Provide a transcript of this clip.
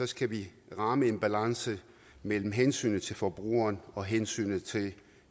skal vi ramme en balance mellem hensynet til forbrugeren og hensynet til